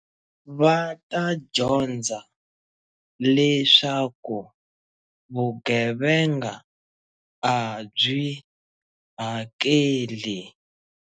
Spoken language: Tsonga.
Va ta dyondza leswaku vugevenga a byi hakeli.